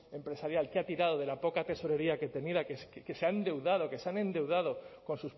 empresarial que ha tirado de la poca tesorería que tenía que se ha endeudado que se han endeudado con